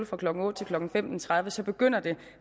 fra klokken otte til klokken femten tredive så begynder det